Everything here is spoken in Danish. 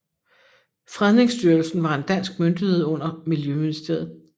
Fredningsstyrelsen var en dansk myndighed under Miljøministeriet